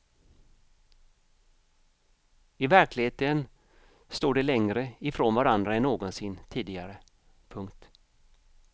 I verkligheten står de längre ifrån varandra än någonsin tidigare. punkt